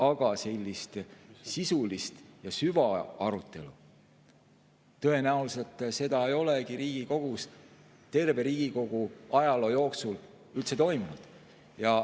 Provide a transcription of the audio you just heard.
Aga sellist sisulist ja süvaarutelu ei olegi tõenäoliselt terve Riigikogu ajaloo jooksul Riigikogus üldse toimunud.